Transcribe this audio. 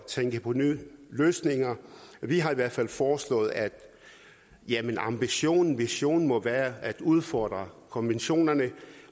tænke på nye løsninger vi har i hvert fald foreslået at ambitionen visionen må være at udfordre konventionerne